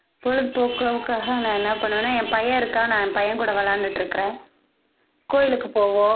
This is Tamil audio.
பொழுது போக்கிற்காக நான் என்ன பண்ணுவனா என் பையன் இருக்கான் நான் என் பையன் கூட விளையாண்டுட்ருக்குறேன் கோயிலுக்குப் போவோம்